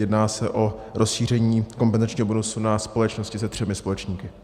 Jedná se o rozšíření kompenzačního bonusu na společnosti se třemi společníky.